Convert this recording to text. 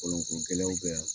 Kolɔnkogɛlɛyaw bɛ yan.